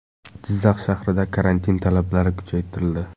Jizzax shahrida karantin talablari kuchaytirildi.